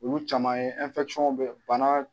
Olu caman ye bɛ bana.